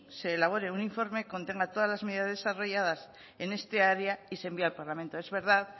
se elabore un informe que contenga todas las medidas desarrolladas en esta área y se envíe al parlamento es verdad